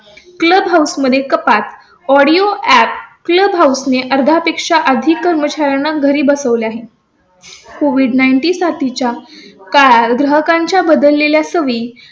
clubhouse मध्ये कपात audio app clubhouse ने अर्ध्या पेक्षा आधी कर्मचाऱ्यांना घरी बसवले आहे. कोविड नाइनटी साठीच्या काय ग्राहकांच्या बदललेल्या सवयीं